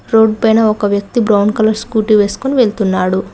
ఒక వ్యక్తి brown colour scooty వేసుకుని వెళ్తున్నాడు.